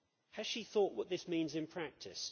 Has she thought what this means in practice?